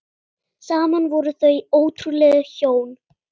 Saman voru þau ótrúleg hjón.